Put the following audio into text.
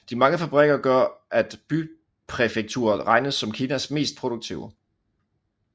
De mange fabrikker gør at bypræfekturet regnes som Kinas mest produktive